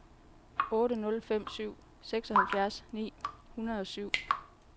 otte nul fem syv seksoghalvfems ni hundrede og syv